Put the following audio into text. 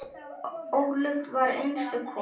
Ólöf var einstök kona.